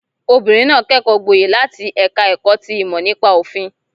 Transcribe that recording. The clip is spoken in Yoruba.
Obìnrin náà kẹ́kọ̀ọ́ gboyè láti ẹ̀ka ẹ̀kọ́ ti ìmọ̀ nípa òfin